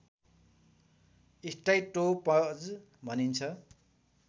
stratopause भनिन्छ